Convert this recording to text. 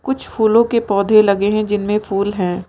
कुछ फूलों के पौधे लगे हैं जिनमें फूल हैं।